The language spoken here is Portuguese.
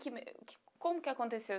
que me. Como que aconteceu?